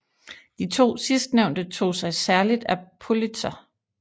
De to sidstnævnte tog sig særlig af Politzer